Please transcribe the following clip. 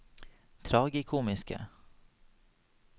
tragikomiske